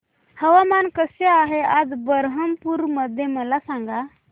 हवामान कसे आहे आज बरहमपुर मध्ये मला सांगा